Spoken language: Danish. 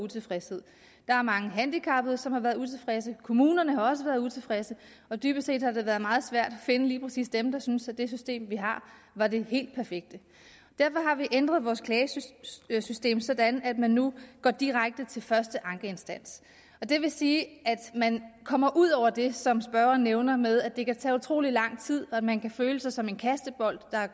utilfredshed der er mange handicappede som har været utilfredse kommunerne har også været utilfredse og dybest set har det været meget svært at finde lige præcis dem der synes at det system vi har er det helt perfekte derfor har vi ændret vores klagesystem sådan at man nu går direkte til første ankeinstans det vil sige at man kommer ud over det som spørgeren nævner med at det kan tage utrolig lang tid og at man kan føle sig som en kastebold der